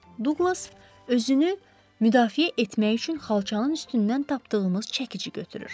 Duqlas özünü müdafiə etmək üçün xalçanın üstündən tapdığımız çəkici götürür.